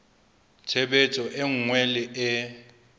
tshebetso e nngwe le e